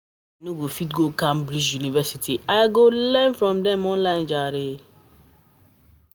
As I no fit go fit go Cambridge University, I go learn from dem online.